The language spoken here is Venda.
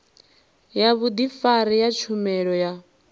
ya vhudifari ya tshumelo ya